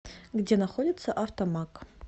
где находится автомаг